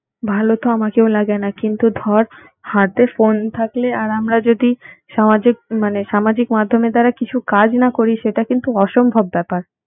ভালো তো আমাকেও লাগে না কিন্তু ধর হাতে phone থাকলে আর আমরা যদি সামাজিক মানে সামাজিক মাধ্যমের দ্বারা কিছু কাজ না করি সেটা কিন্তু অসম্ভব ব্যাপার।